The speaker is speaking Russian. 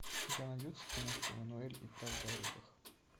у тебя найдется киношка эммануэль и правда о рыбах